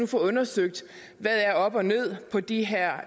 få undersøgt hvad der er op og ned på de her